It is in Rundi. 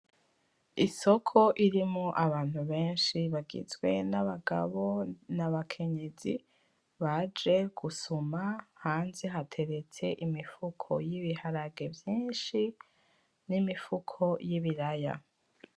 Isoko irimwo abantu benshi bagizwe n'abagabo, n'abakenyezi baje gusuma hanze hateretse imifuko y'ibiharage vyinshi, n'imifuko y'ibiraya.